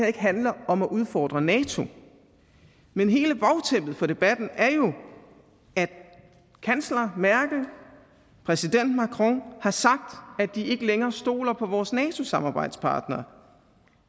ikke handler om at udfordre nato men hele bagtæppet for debatten er jo at kansler merkel og præsident macron har sagt at de ikke længere stoler på vores nato samarbejdspartnere